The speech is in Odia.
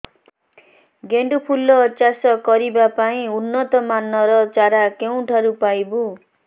ଗେଣ୍ଡୁ ଫୁଲ ଚାଷ କରିବା ପାଇଁ ଉନ୍ନତ ମାନର ଚାରା କେଉଁଠାରୁ ପାଇବୁ